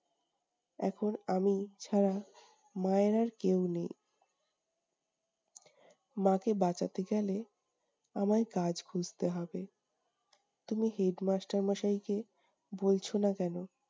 এখন আমি ছাড়া মায়ের আর কেউ নেই। মাকে বাঁচাতে গেলে আমায় কাজ খুঁজতে হবে। তুমি headmaster মশাইকে বলছো না কেনো?